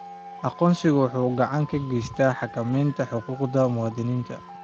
Aqoonsigu waxa uu gacan ka geystaa xakamaynta xuquuqda muwaadiniinta.